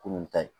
Kunun ta ye